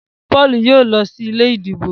Paul yóò ló sí ilé ìdìbò.